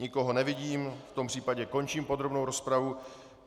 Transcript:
Nikoho nevidím, v tom případě končím podrobnou rozpravu.